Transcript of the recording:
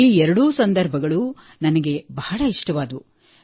ಈ ಎರಡೂ ಸಂದರ್ಭಗಳು ನನಗೆ ಬಹಳ ಇಷ್ಟವಾಯಿತು